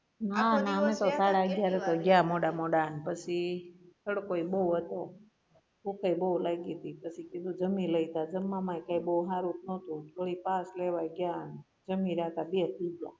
ના ના અમે તો સાડા અગિયારે તો ગયા મોડા મોડા અને પછી તડકો એ બઉ હતો ભૂખ એ બઉ લાઈગી તી પછી કીધુ જમી લઈએ તા જમવા મા એ બઉ હારુ નોતુ વળી pass લેવા ગયા ત્યા બેસી ગ્યા